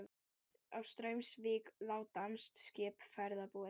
Í Straumsvík lá danskt skip, ferðbúið.